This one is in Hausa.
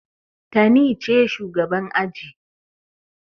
Tani ce shugaban aji.